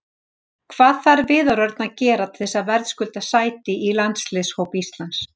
Hvað þarf Viðar Örn að gera til þess að verðskulda sæti í landsliðshóp Íslands?